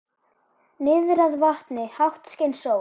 Niðrað vatni, hátt skein sól.